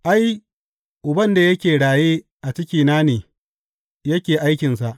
Ai, Uban da yake raye a cikina ne yake aikinsa.